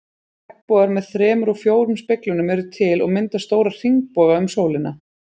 Regnbogar með þremur og fjórum speglunum eru til og mynda stóra hringboga um sólina.